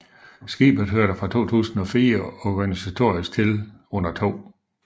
Skibet hørte fra 2004 organisatorisk til under 2